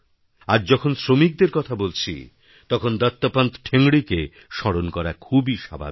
আজ যখন শ্রমিকদের কথা বলছি তখন দত্তোপন্ত ঠেঙ্গড়িকে স্মরণ করা খুবই স্বাভাবিক